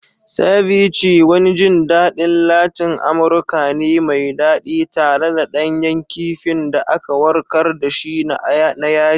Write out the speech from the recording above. Ceviche wani jin daɗin Latin Amurka ne mai daɗi, tare da ɗanyen kifin da aka warkar da shi na yaji.